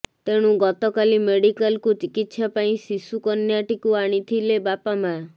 ତେଣୁ ଗତକାଲି ମେଡିକାଲକୁ ଚିକିତ୍ସା ପାଇଁ ଶିଶୁକନ୍ୟଟିକୁ ଆଣିଥିଲେ ବାପାମା